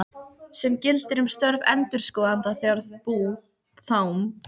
sem gildir um störf endurskoðanda þegar bú, þám.